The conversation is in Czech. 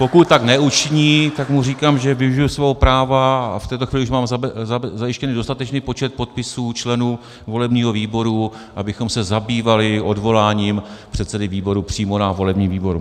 Pokud tak neučiní, tak mu říkám, že využiji svého práva, a v této chvíli už mám zajištěný dostatečný počet podpisů členů volebního výboru, abychom se zabývali odvoláním předsedy výboru přímo na volebním výboru.